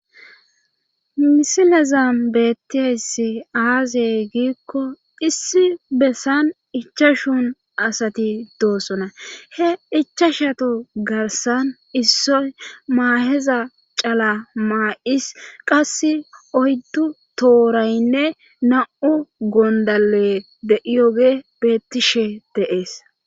misilazan bettiayssi aazey giikko issi bessan ichashon asati doosona he ichashatu garsan issoy maaheza cala maa7is qasse oyddu tooraynne nam7u gondale deiyoge bettishe deees